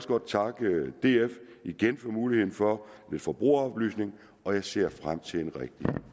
godt takke df igen for muligheden for lidt forbrugeroplysning og jeg ser frem til en rigtig